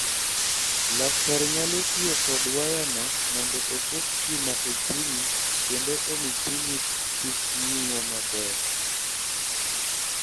Laktar nyalo tiyo kod wayano mondo oket stima e chunyi kendo omi chunyi kik ng�iyo maber.